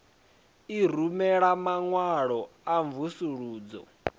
i rumela maṅwalo a mvusuludzo